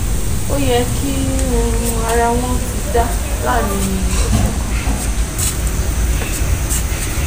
Ó yẹ kí um ara wọ́n ti dá láàárín ọ̀sẹ̀ kan